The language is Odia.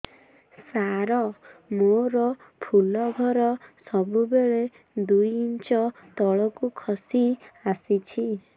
ସାର ମୋର ଫୁଲ ଘର ସବୁ ବେଳେ ଦୁଇ ଇଞ୍ଚ ତଳକୁ ଖସି ଆସିଛି